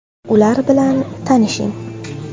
Ular bilan tanishing: !